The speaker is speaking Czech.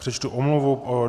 Přečtu omluvu.